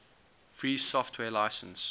free software license